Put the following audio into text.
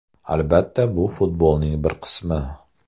Albatta, bu futbolning bir qismi.